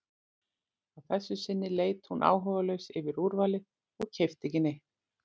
Að þessu sinni leit hún áhugalaus yfir úrvalið og keypti ekki neitt.